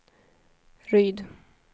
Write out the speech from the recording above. Ryd